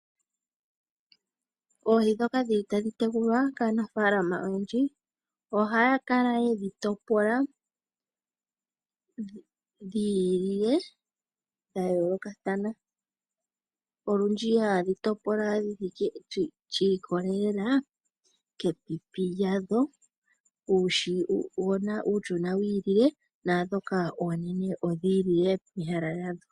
Oohi ndhoka hadhi tekulwa kaanafalama oha ya kala yedhi topola. Ndhoka dhayoolokathana oha dhi kala dhi ilile. Olundji oha ye dhitopola shi ikolela komapipi gadho, uushona wu ilile noonene dhi ilile pomahala gadho.